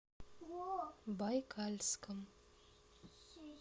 байкальском